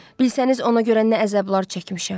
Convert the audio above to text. Bilsəniz ona görə nə əzablar çəkmişəm.